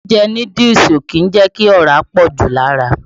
Jíjẹ núdúùsù kìí jẹ́ kí ọ̀rá pọ̀jù lára.